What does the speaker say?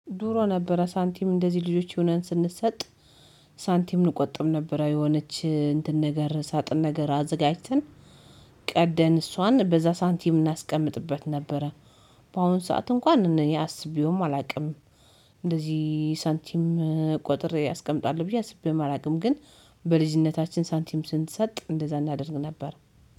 ድሮ ነበረ ሳንቲም እንደዚህ ልጆች ሁነን ስንሰጥ ሳንቲም እንቆጥብ ነበረ የሆነች እንትን ነገር ሳጥን ነገር አዘጋጅተን ቀደን እሷን በዛ ሳንቲም እናስቀምጥበት ነበረ። በአሁኑ ሰዓት እንኳን እኔ አስቤውም አላውቅም። እንደዚህ ሳንቲም ቆጥሬ ያስቀምጣል ብዬ አስቤውም ግን በልጅነታችን ሳንቲም ስንሰጥ እንደዛ እናደርግ ነበር